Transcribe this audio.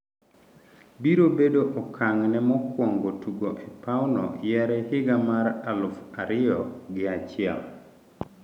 Biro bedo okang' ne mokwongo tugo e pauno yare higa mar aluf ariyo gi achiel